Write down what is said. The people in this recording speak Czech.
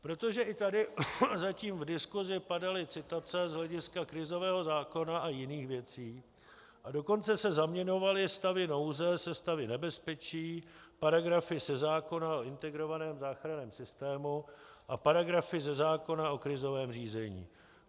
Protože i tady zatím v diskusi padaly citace z hlediska krizového zákona a jiných věcí, a dokonce se zaměňovaly stavy nouze se stavy nebezpečí, paragrafy ze zákona o integrovaném záchranném systému a paragrafy ze zákona o krizovém řízení.